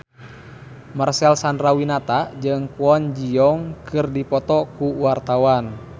Marcel Chandrawinata jeung Kwon Ji Yong keur dipoto ku wartawan